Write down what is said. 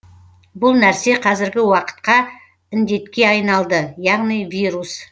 бұл нәрсе қазіргі уақытқа індетке айналды яғни вирус